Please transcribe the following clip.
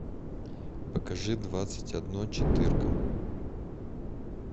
покажи двадцать одно четырка